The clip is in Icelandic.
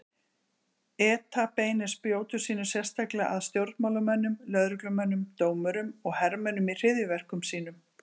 ETA beinir spjótum sínum sérstaklega að stjórnmálamönnum, lögreglumönnum, dómurum og hermönnum í hryðjuverkum sínum.